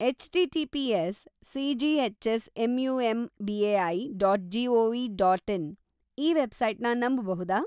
H T T P S C G H S M U M B A I dot G O V dot in ಈ ವೆಬ್ಸೈಟ್‌ನ ನಂಬಬಹುದಾ?